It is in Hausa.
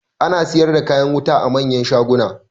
Ana siyar da kayan wuta a manyan shaguna.